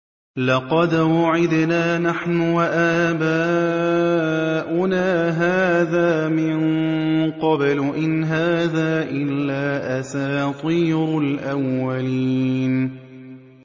لَقَدْ وُعِدْنَا نَحْنُ وَآبَاؤُنَا هَٰذَا مِن قَبْلُ إِنْ هَٰذَا إِلَّا أَسَاطِيرُ الْأَوَّلِينَ